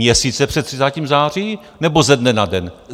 Měsíce před 30. září, nebo ze dne na den?